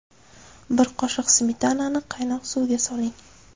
Bir qoshiq smetanani qaynoq suvga soling.